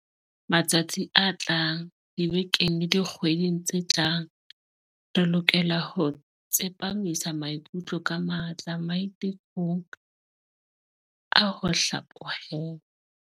Matsatsing a tlang, dibekeng le dikgweding tse tlang, re lokela ho tsepamisa maikutlo ka matla maite kong a ho hlaphohelwa.